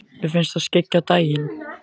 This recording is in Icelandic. Mér finnst það skyggja á daginn.